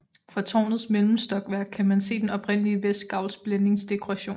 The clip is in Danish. Fra tårnets mellemstokværk kan man se den oprindelige vestgavls blændingsdekoration